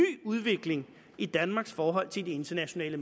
udvikling i danmarks forhold til de internationale